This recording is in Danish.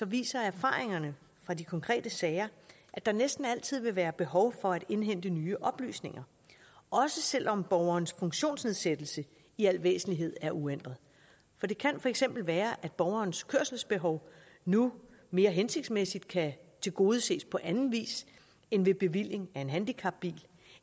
viser erfaringerne fra de konkrete sager at der næsten altid vil være behov for at indhente nye oplysninger også selv om borgerens funktionsnedsættelse i al væsentlighed er uændret det kan for eksempel være at borgerens kørselsbehov nu mere hensigtsmæssigt kan tilgodeses på anden vis end ved bevilling af en handicapbil